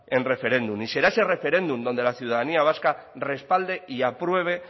en referéndum y será ese referéndum donde la ciudadanía vasca respalde y apruebe